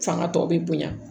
Fanga tɔ bɛ bonya